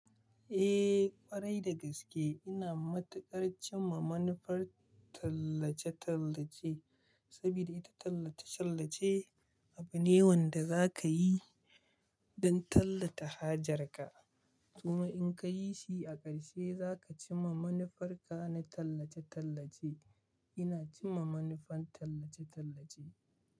Eh ƙwarai da gaske ina matuƙar cimma manufar tallace-tallace saboda ita tallace-tallace abu ne wanda za ka yi don tallata hajar ka. Kuma in ka yi shi a ƙarshe za ka cimma manufarka na tallace-tallace. Ina cimma manufar tallace-tallace.